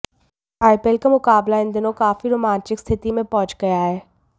IPL का मुकाबला इन दिनों काफी रोमांचक स्थिति में पहुंच गया है